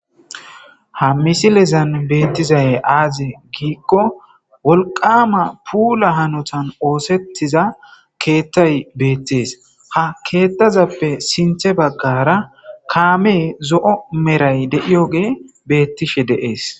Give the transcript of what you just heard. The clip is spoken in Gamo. ha misilezan beettizaye aaze giikko wolqama puula hanotan oosettiza keettay beettees ha keettazappe sinthe baggara kaame zo7o meray de7iyoge beettishe deees